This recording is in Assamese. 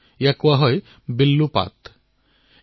ইয়াক বিল্লু পাট বুলি কোৱা হয়